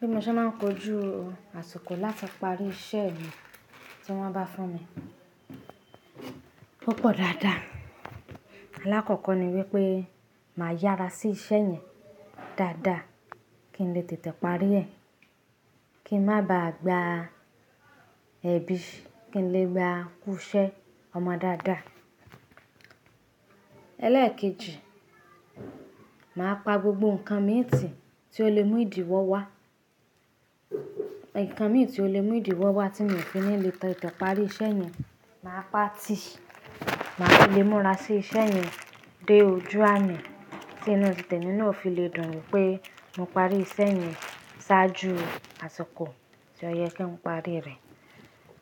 Bí mo ṣe máa ń kojú àsìkò láti parí iṣẹ́ mi tí wọ́n bá fún mi púpọ̀ dáadáa. Alákọ̀ọ́kọ́ ni wípé màá yára sí iṣẹ́ yẹn dáadáa kí n lè tètè parí ẹ̀. Kí n má ba à gba ẹ̀bi kí n lè gba kusẹ́ ọmọ dáadáa. Ẹ̀lẹ́ẹ̀kejì, màá pa gbogbo nǹkan mìí tí, ti ó lè mú ìdíwọ́ wá. Ìnǹkan mìí tí ó lè mú ìdíwọ́ wá tí mi ò fi nílò tètè parí iṣẹ́ yẹn, màá pa á tì, màá lè múra sí iṣẹ́ yẹn dé ojú ààmi tí inú tètè nínú òfin lè dùn mí pé mo parí iṣẹ́ yẹn ṣáájú àsìkò tí ó yẹ kí n parí rẹ̀.